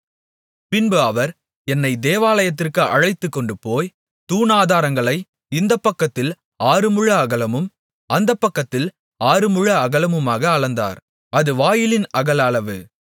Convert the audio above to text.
பின்பு அவர் என்னைத் தேவாலயத்திற்கு அழைத்துக்கொண்டுபோய் தூணாதாரங்களை இந்தப்பக்கத்தில் ஆறுமுழ அகலமும் அந்தப்பக்கத்தில் ஆறுமுழ அகலமுமாக அளந்தார் அது வாயிலின் அகல அளவு